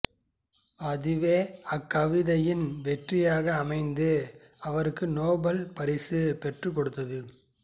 அதுவே அக்கவிதையின் வெற்றியாக அமைந்து அவருக்கு நோபெல் பரிசையும் பெற்றுக் கொடுத்தது